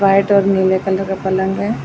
White और नीले colour का पलंग हैं ।